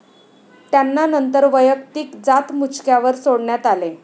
त्यांना नंतर वैयक्तिक जातमुचक्यावर सोडण्यात आले.